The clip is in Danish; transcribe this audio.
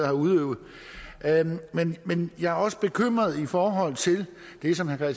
har udøvet men jeg er også bekymret i forhold til det som herre